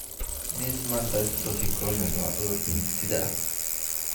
Meesmann dystrophy corneal waa cudur hidde-side ah.